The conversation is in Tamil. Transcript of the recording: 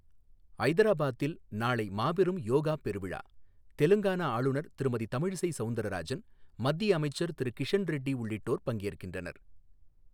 ஐதராபாத்தில் நாளை மாபெரும் யோகா பெருவிழா தெலங்கானா ஆளுநர் திருமதி தமிழிசை சௌந்தரராஜன், மத்திய அமைச்சர் திரு கிஷண் ரெட்டி உள்ளிட்டோர் பங்கேற்கின்றனர்